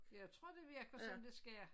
Jeg tror det virker som det skal